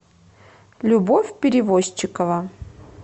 любовь перевозчикова